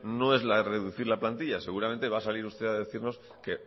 no es reducir la plantilla seguramente va a salir usted a decirnos que